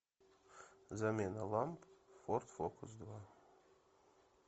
замена ламп в форд фокус два